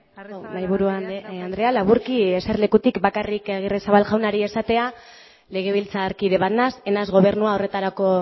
arrizabalaga andreak dauka hitza mahaiburu andrea laburki jesarlekutik bakarrik agirrezabal jaunari esatea legebiltzarkide bat naiz ez naiz gobernua horretarako